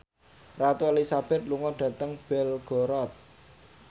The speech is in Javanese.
Ratu Elizabeth lunga dhateng Belgorod